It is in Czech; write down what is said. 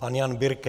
Pan Jan Birke.